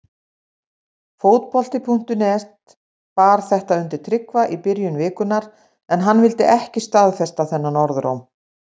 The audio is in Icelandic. Fótbolti.net bar þetta undir Tryggva í byrjun vikunnar en hann vildi ekki staðfesta þennan orðróm.